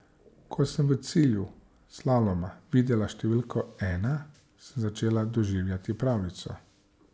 Ko sem v cilju slaloma videla številko ena, sem začela doživljati pravljico.